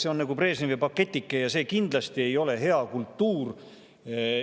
See on nagu Brežnevi pakike ja see kindlasti ei ole hea kultuur.